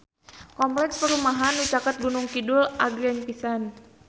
Kompleks perumahan anu caket Gunung Kidul agreng pisan